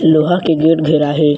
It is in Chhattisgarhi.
लोहा के गेट घेरा हे।